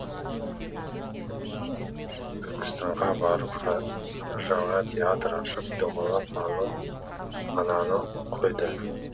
райымбек түркістанға барып жаңа театр ашып домалақ ананы қойды